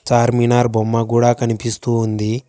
చార్మినార్ బొమ్మ కూడా కనిపిస్తూ ఉంది.